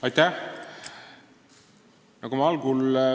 Aitäh!